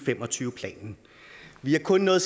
fem og tyve planen vi har kun nået